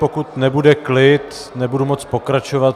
Pokud nebude klid, nebudu moci pokračovat.